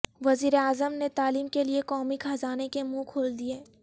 وزیراعظم نے تعلیم کے لیے قومی خزانے کے منہ کھول دئیے